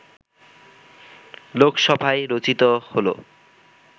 লোকসভায় রচিত হলো